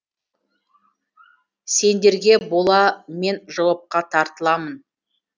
сендерге бола мен жауапқа тартыламын